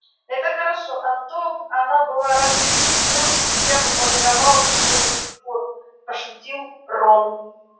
это хорошо а то б она была раз в десять больше и я бы полировал её до сих пор пошутил рон